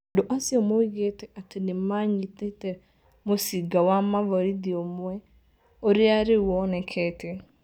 Andũ acio moigĩte atĩ nĩ maanyitĩte mũcinga wa mũvorithi ũmwe, ũrĩa rĩu wonekete.